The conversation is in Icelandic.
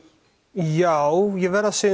já ég verð að segja